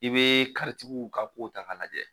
I bɛ karitigiw ka ko ta k'a lajɛ.